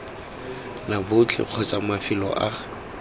la botlhe kgotsa mafelo a